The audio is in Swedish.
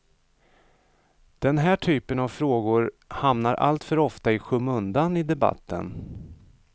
Den här typen av frågor hamnar alltför ofta i skymundan i debatten.